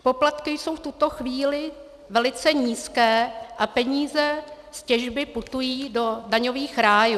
Poplatky jsou v tuto chvíli velice nízké a peníze z těžby putují do daňových rájů.